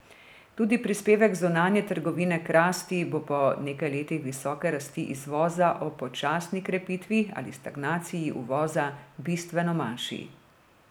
Tudi prispevek zunanje trgovine k rasti bo po nekaj letih visoke rasti izvoza ob počasni krepitvi ali stagnaciji uvoza bistveno manjši.